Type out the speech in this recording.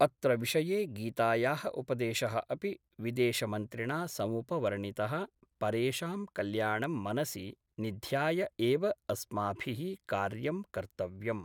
अत्र विषये गीतायाः उपदेशः अपि विदेशमन्त्रिणा समुपवर्णितः परेषां कल्याणं मनसि निध्याय एव अस्माभि: कार्यं कर्तव्यम्।